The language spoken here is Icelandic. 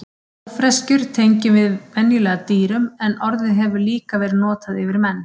Ófreskjur tengjum við venjulega dýrum en orðið hefur líka verið notað yfir menn.